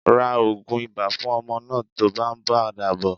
Ra ogun ibà fún ọmọ náà tó bá ń padà bò.